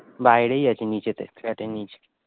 বাইরে আছে নীচে তে